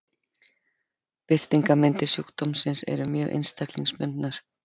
Birtingarmyndir sjúkdómsins eru mjög einstaklingsbundnar.